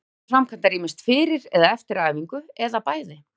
Teygjur eru framkvæmdar ýmist fyrir eða eftir æfingu, eða bæði.